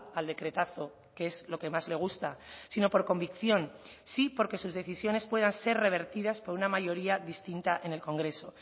al decretazo que es lo que más le gusta sino por convicción sí porque sus decisiones puedan ser revertidas por una mayoría distinta en el congreso